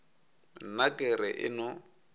nna ke re e no